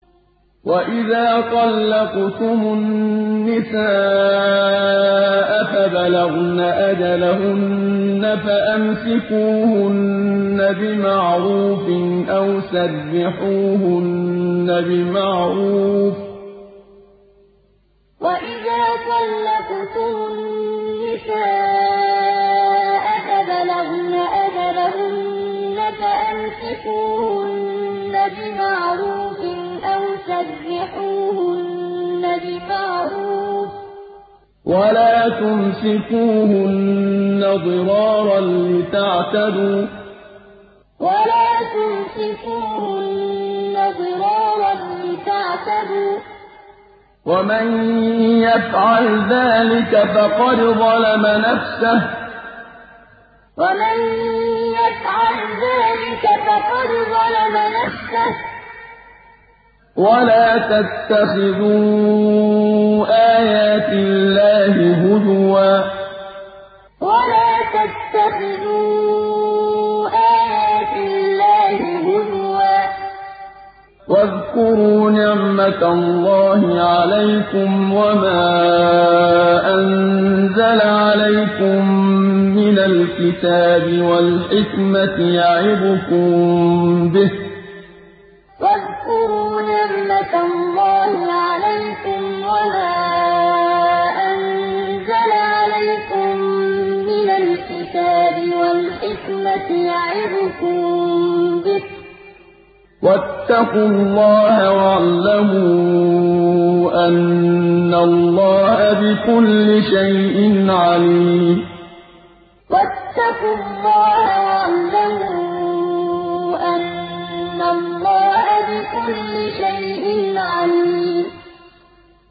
وَإِذَا طَلَّقْتُمُ النِّسَاءَ فَبَلَغْنَ أَجَلَهُنَّ فَأَمْسِكُوهُنَّ بِمَعْرُوفٍ أَوْ سَرِّحُوهُنَّ بِمَعْرُوفٍ ۚ وَلَا تُمْسِكُوهُنَّ ضِرَارًا لِّتَعْتَدُوا ۚ وَمَن يَفْعَلْ ذَٰلِكَ فَقَدْ ظَلَمَ نَفْسَهُ ۚ وَلَا تَتَّخِذُوا آيَاتِ اللَّهِ هُزُوًا ۚ وَاذْكُرُوا نِعْمَتَ اللَّهِ عَلَيْكُمْ وَمَا أَنزَلَ عَلَيْكُم مِّنَ الْكِتَابِ وَالْحِكْمَةِ يَعِظُكُم بِهِ ۚ وَاتَّقُوا اللَّهَ وَاعْلَمُوا أَنَّ اللَّهَ بِكُلِّ شَيْءٍ عَلِيمٌ وَإِذَا طَلَّقْتُمُ النِّسَاءَ فَبَلَغْنَ أَجَلَهُنَّ فَأَمْسِكُوهُنَّ بِمَعْرُوفٍ أَوْ سَرِّحُوهُنَّ بِمَعْرُوفٍ ۚ وَلَا تُمْسِكُوهُنَّ ضِرَارًا لِّتَعْتَدُوا ۚ وَمَن يَفْعَلْ ذَٰلِكَ فَقَدْ ظَلَمَ نَفْسَهُ ۚ وَلَا تَتَّخِذُوا آيَاتِ اللَّهِ هُزُوًا ۚ وَاذْكُرُوا نِعْمَتَ اللَّهِ عَلَيْكُمْ وَمَا أَنزَلَ عَلَيْكُم مِّنَ الْكِتَابِ وَالْحِكْمَةِ يَعِظُكُم بِهِ ۚ وَاتَّقُوا اللَّهَ وَاعْلَمُوا أَنَّ اللَّهَ بِكُلِّ شَيْءٍ عَلِيمٌ